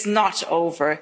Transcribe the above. is over. It is not